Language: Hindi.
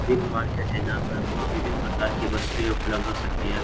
बिग मार्केट है जहां पर बहुत विभिन प्रकार की वस्तुएं उपलब्ध हो सकती है।